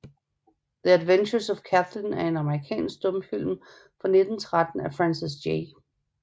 The Adventures of Kathlyn er en amerikansk stumfilm fra 1913 af Francis J